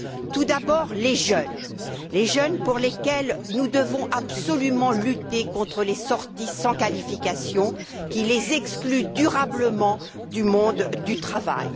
Tout d'abord, les jeunes, les jeunes pour lesquels nous devons absolument lutter contre les sorties sans qualification qui les excluent durablement du monde du travail.